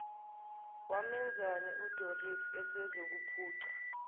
wamenzani udoris esezokuphuca